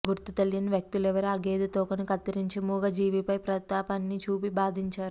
గుర్తు తెలియని వ్యక్తులెవరో ఆ గేదె తోకను కత్తిరించి మూగ జీవి పై ప్రతాపాన్ని చూపి బాధించారు